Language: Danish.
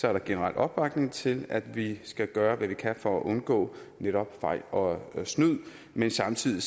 er der generel opbakning til at vi skal gøre hvad vi kan for at undgå netop fejl og snyd men samtidig